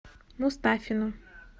мустафину